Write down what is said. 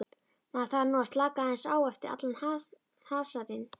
Maður þarf nú að slaka aðeins á eftir allan hasarinn.